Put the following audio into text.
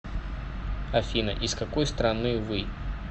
афина из какой страны вы